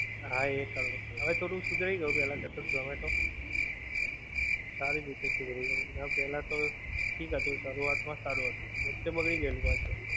હા એ ખરું. હવે થોડું સુધરી ગયું પેલા કરતાં ઝોમેટો. સારી રીતે સુધરી ગયું. પેલ્લાં તો ઠીક હતું, શરૂઆત માં સારું હતું, વચ્ચે બગડી ગયેલું પાછું.